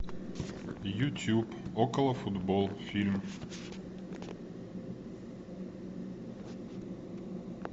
ютуб околофутбол фильм